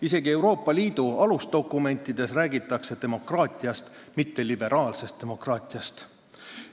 Isegi Euroopa Liidu alusdokumentides räägitakse demokraatiast, mitte liberaalsest demokraatiast.